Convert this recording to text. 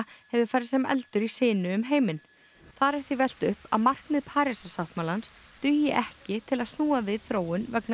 hefur farið sem eldur í sinu um heiminn þar er því velt upp að markmið Parísarsáttmálans dugi ekki til að snúa við þróun vegna